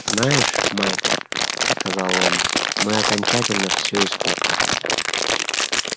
знаешь майк сказал он мы окончательно все испортили